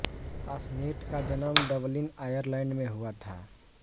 passionate का जन्म Dublin Ireland में हुआ था